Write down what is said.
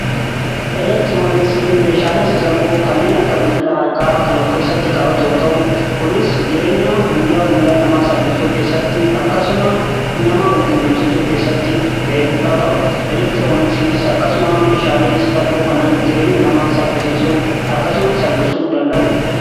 Elektirooniksiin meeshaalee sassalphoo kanneen akka bilbila harkaa kan of keessatti qabatu yoo ta'u kunis jireenya guyyaa guyyaa nama salphisuu keessatti akkasuma nama walqunnamsiisuu keessatti ga'ee guddaa qaba. Elektirooniksiinis akkasuma meeshaalee sassalphoo kanaan jireenya nama saffisiisuu akkasuma salphisuu danda'udha.